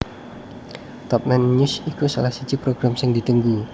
Top Nine News iku salah siji program sing ditunggu